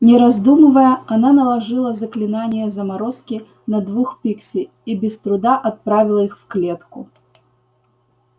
не раздумывая она наложила заклинание заморозки на двух пикси и без труда отправила их в клетку